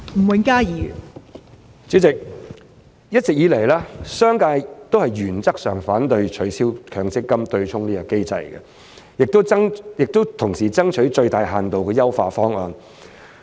代理主席，一直以來，商界均原則上反對取消強積金"對沖"機制，同時爭取最大限度的優化方案。